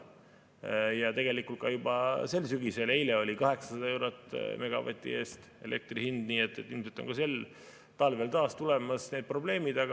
Ja tegelikult ka juba sel sügisel, eile oli elektri hind 800 eurot megavati eest, nii et ilmselt on sel talvel taas tulemas need probleemid.